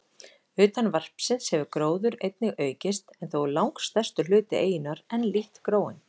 Utan varpsins hefur gróður einnig aukist, en þó er langstærstur hluti eyjunnar enn lítt gróinn.